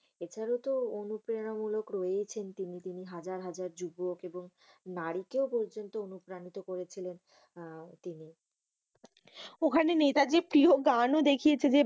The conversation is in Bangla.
এছাড়া তো অনুপ্রেরণা মূলক হয়েছেন তিনি। তিনি হাজার হাজার যুবক এবং নারীকেও কিন্তু অনুপ্রাণীত করছিলেন। আহ তিনি। ওখানে নেতাজীর প্রিয় গান ও দেখিয়েছে।